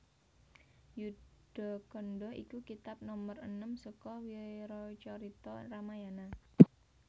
Yuddhakanda iku kitab nomer enem saka wiracarita Ramayana